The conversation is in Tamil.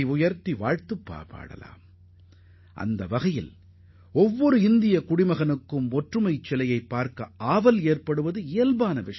ஏனெனில் ஒற்றுமை சிலையை காண வேண்டும் என்ற விருப்பம் ஒவ்வொரு இந்தியரின் மனதிலும் தோன்றுவது இயற்கையானது